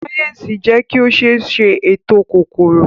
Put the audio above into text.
sáyẹnsì jé ki o ṣéé sè ètò kòkòrò.